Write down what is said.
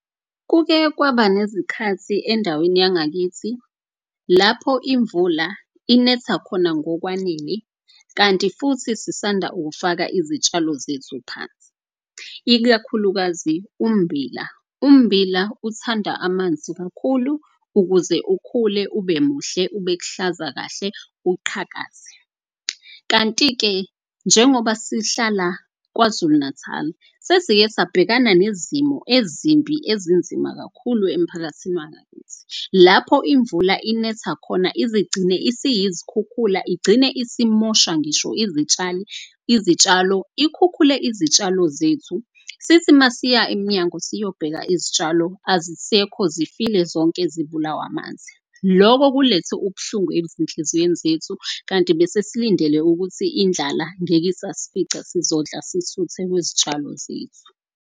Kuke kwaba nezikhathi endaweni yangakithi lapho imvula inetha khona ngokwanele. Kanti futhi sisanda ukufaka izitshalo zethu phansi, ikakhulukazi ummbila. Ummbila uthanda amanzi kakhulu ukuze ukhule ube muhle, ube kuhlaza kahle, uqhakaze. Kanti-ke njengoba sihlala KwaZulu-Natal, sesike sabhekana nezimo ezimbi ezinzima kakhulu emphakathini wangakithi. Lapho imvula inetha khona izigcine isiyizikhukhula. Igcine isimosha ngisho izitshalo ikhukhule izitshalo zethu. Sithi masiya emnyango siyobheka izitshalo azisekho zifile zonke zibulawe amanzi. Loko kulethe ubuhlungu ezinhlizweni zethu kanti bese silindele ukuthi indlala ngeke isasifica. Sizodla sisuthe kwezitshalo zethu.